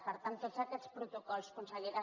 per tant tots aquests protocols consellera